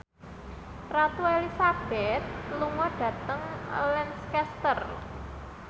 Ratu Elizabeth lunga dhateng Lancaster